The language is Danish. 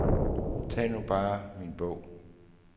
Tag nu bare min bog.